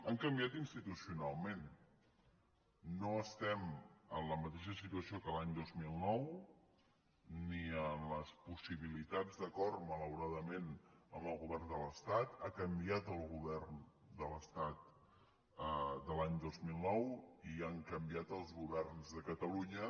han canviat institucionalment no estem en la mateixa situació que l’any dos mil nou ni en les possibilitats d’acord malauradament amb el govern de l’estat ha canviat el govern de l’estat de l’any dos mil nou i han canviat els governs de catalunya